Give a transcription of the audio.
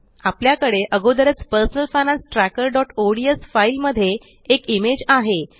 आपल्याकडे अगोदरच personal finance tracker ODS file मध्ये एक इमेज आहे